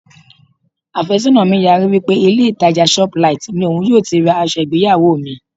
Àfẹ́sọ́nà mi yarí wí pé ilé ìtàjà shoplight ni òun yóò ti ra aṣọ ìgbéyàwó mi.